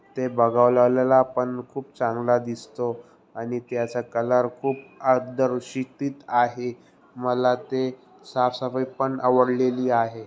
ते बघा लावलेला आपण खूब चांगला दिसतोय आणि त्याचा कलर आहे मला ते साफ सफाई पण आवडलेली आहे.